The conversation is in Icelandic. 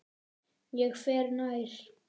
Ég fer nær.